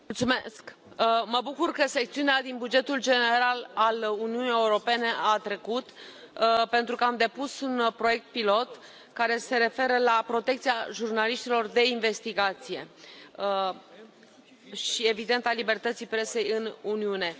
Domnule președinte, mă bucur că secțiunea din bugetul general al Uniunii Europene a trecut, pentru că am depus un proiect pilot care se referă la protecția jurnaliștilor de investigație și, evident, a libertății presei în Uniune.